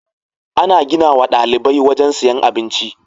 Ana ginawa ɗalibai wajan siyan abinci